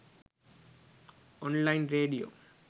online radio